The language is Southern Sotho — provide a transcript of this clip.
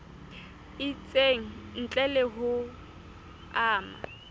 itseng ntle le ho ama